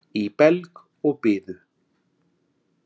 Í belg og biðu.